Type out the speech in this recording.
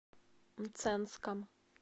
мценском